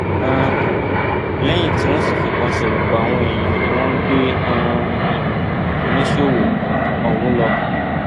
um lẹyìn tí wọn sì fìbọn ṣerú bá àwọn èèyàn ni wọn gbé um oníṣòwò ọhún lọ